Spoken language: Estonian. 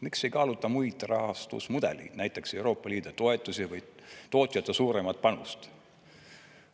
Miks ei kaaluta muid rahastusmudeleid, näiteks Euroopa Liidu toetusi või tootjate suuremat panust?